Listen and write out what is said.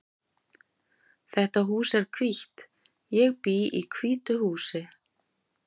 Þetta hús er hvítt. Ég bý í hvítu húsi.